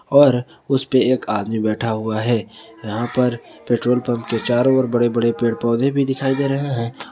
और उसे पर एक आदमी बैठा हुआ है यहां पर पेट्रोल पंप के चारों ओर बड़े बड़े पेड़ पौधे भी दिखाई दे रहे हैं।